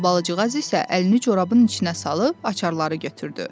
Albalıcığaz isə əlini corabın içinə salıb açarları götürdü.